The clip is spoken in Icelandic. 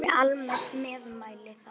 Ekki amaleg meðmæli það.